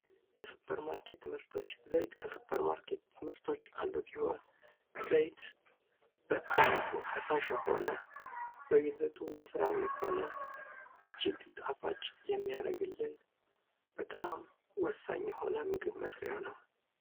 የሱፐርማርኬት ምርቶች፡- ዘይት ከሱፐርማርኬት ምርቶች ውስጥ አንዱ ሲሆን ፤ ዘይት በአይነቱ ፈሳሽ የሆነ፥ በይዘቱ ወፍራም የሆነ፥ እጅግ ጣፋጭ የሚያደርግልን፥ በጣም ወሳኝ የሆነ ምግብ መስርያ ነው።